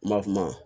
Ma kuma